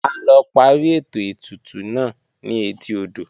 A lọ parí ètò ètùtù náà ni etí odò